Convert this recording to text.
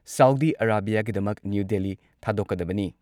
Saudi ꯑꯔꯥꯕꯤꯌꯥꯒꯤꯗꯃꯛ New Delhi ꯊꯥꯗꯣꯛꯀꯗꯕꯅꯤ ꯫